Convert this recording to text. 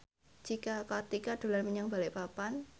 Cika Kartika dolan menyang Balikpapan